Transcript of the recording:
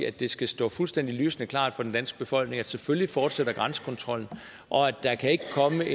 at det skal stå fuldstændig lysende klart for den danske befolkning at selvfølgelig fortsætter grænsekontrollen og at der ikke kan komme